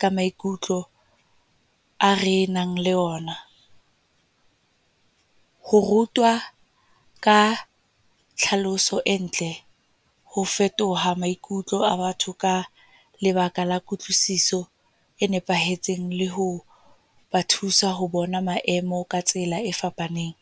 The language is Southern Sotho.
ka maikutlo a re nang le ona. Ho rutwa ka tlhaloso e ntle, ho fetoha maikutlo a batho ka lebaka la kutlwisiso e nepahetseng. Le ho ba thusa ho bona maemo ka tsela e fapaneng.